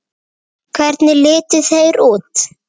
Hvernig litu þeir út?